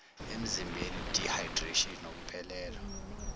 emzimbeni dehydration ukuphelelwa